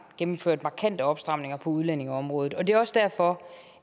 gennemført markante opstramninger på udlændingeområdet det er også derfor